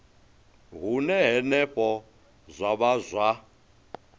hune henefho zwa vha zwa